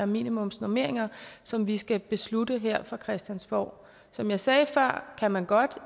minimumsnormeringer som vi skal beslutte her fra christiansborg som jeg sagde før kan man godt